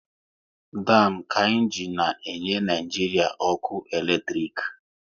Dam Kainji na enye Naijiria ọkụ eletrik